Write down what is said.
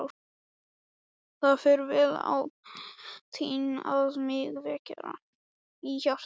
Það fer vel á því að mig verkjar í hjartað.